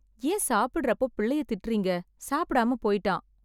ஏன் சாப்பிடற அப்போ பிள்ளைய திட்டறீங்க சாப்பிடாமா போய்டான்